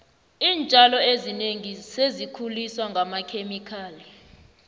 iintjalo ezinengi sezikhuliswa ngamakhemikhali